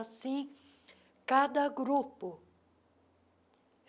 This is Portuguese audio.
Assim, cada grupo.